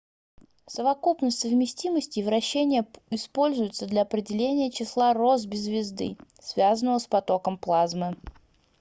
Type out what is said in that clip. совокупность светимости и вращения используется для определения числа россби звезды связанного с потоком плазмы